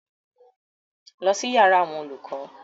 Lọ sí yàrá àwọn olùkọ́!